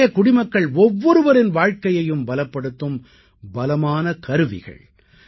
இவையே குடிமக்கள் ஒவ்வொருவரின் வாழ்க்கையையும் பலப்படுத்தும் பலமான கருவிகள்